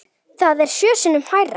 Það er sjö sinnum hærra.